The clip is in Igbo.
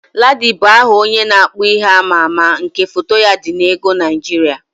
Ladi bụ aha onye na-akpụ ihe amaama nke foto ya dị n'ego Naịjirịa.